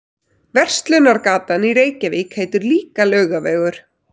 Verslunargatan í Reykjavík heitir líka Laugavegur.